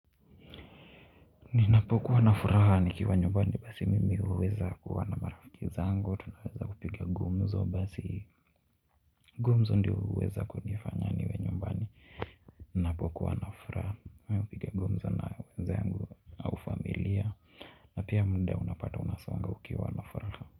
Ninapokuwa na furaha nikiwa nyumbani basi mimi huweza kuwa na marafiki zangu, tunaweza kupiga gumzo basi gumzo ndio huweza kunifanya niwe nyumbani. Ninapokuwa na furaha ni kupiga gumzo na wenzangu au familia na pia muda unapata unasonga ukiwa na furaha.